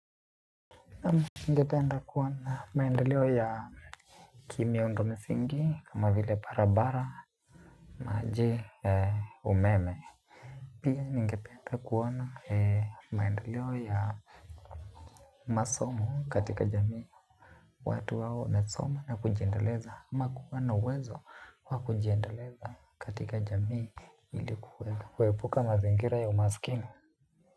Ningependa kuona maendeleo ya kimiondomisingi kama vile barabara maji ya umeme. Pia ningependa kuona maendeleo ya masomo katika jamii. Watu wao na soma na kujiendeleza ama kuwa na uwezo wa kujiendeleza katika jamii ili kuwega kuepuka mazingira ya umaskini.